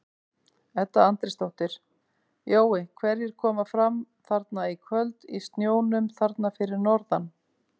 Edda Andrésdóttir: Jói hverjir koma fram þarna í kvöld í snjónum þarna fyrir norðan?